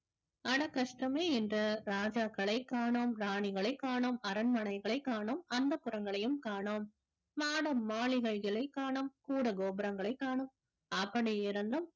அட கஷ்டமே என்று ராஜாக்களை காணோம் ராணிகளை காணோம் அரண்மனைகளை காணோம் அந்தப்புரங்களையும் காணோம் மாடம் மாளிகைகளைக் காணோம் கூட கோபுரங்களைக் காணோம் அப்பனே இருந்தும்